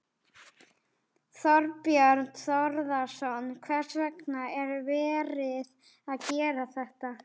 Þorbjörn Þórðarson: Hvers vegna er verið að gera þetta?